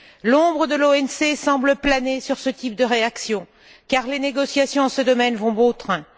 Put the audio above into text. L'ombre de l'OMC semble planer sur ce type de réaction car les négociations en ce domaine vont bon train.